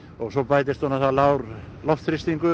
og svo bætist við lágur loftþrýstingur